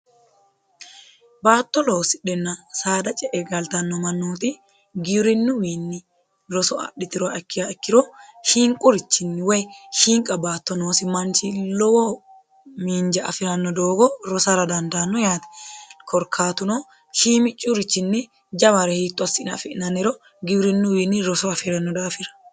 baatto loosidhenna saada ce e galtanno mannooti giwirinuwiinni roso adhitiroa ikki ikkiro hiinqurichinni woy hiinqa baatto noosi manchi lowo miinja afi'ranno doogo rosara dandaanno yaati korkaatuno hiimi curichinni jamare hiitto assina afi'nanero giwirinnuwiinni roso afi'ranno daafira